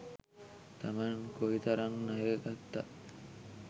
තමන් කොයි තරං ණය ගත්තත්